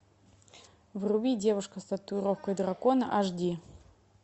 вруби девушка с татуировкой дракона аш ди